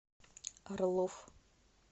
орлов